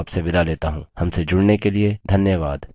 हमसे जुड़ने के लिए धन्यवाद